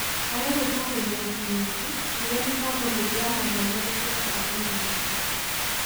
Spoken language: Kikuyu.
Harĩ gũĩka hĩndĩ ya kĩng'ũki, rĩrĩa mĩbango mĩingĩ ya mathomo gũtũĩka kwa intaneti.